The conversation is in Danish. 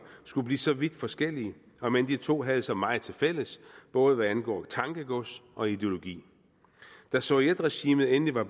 skulle blive så vidt forskellige omend de to havde så meget tilfælles både hvad angår tankegods og ideologi da sovietregimet endelig var